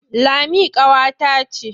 Lami ƙawata ce.